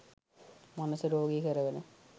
මනස රෝගී කරවන